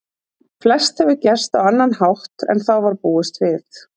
Flest hefur gerst á annan hátt en þá var búist við.